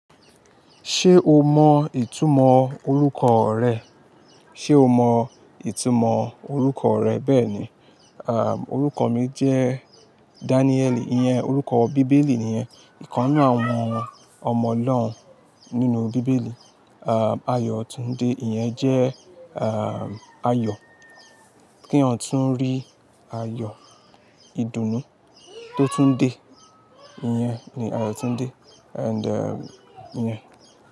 Ṣé o mọ ìtumọ̀ orúkọ rẹ? Ṣé o mọ ìtumọ̀ orúkọ rẹ? Bẹ́ẹ̀ni. À, orúkọ mi jẹ́ Danieli, ìyẹn orúkọ bíbélì nìyẹn. Ìkannú àwọn ọmọ ọlọ́run nínú bíbélì. À, Ayọ̀túndé, ìyẹn jẹ́, à, Ayọ̀ kí ọ tún rí Ayọ̀ ìdùnnú tó tún dé. Ìyẹn ni Ayọ̀túndé. And, ìyẹn.